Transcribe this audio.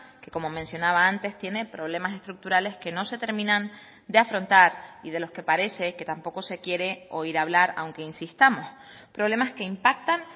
que como mencionaba antes tiene problemas estructurales que no se terminan de afrontar y de los que parece que tampoco se quiere oír hablar aunque insistamos problemas que impactan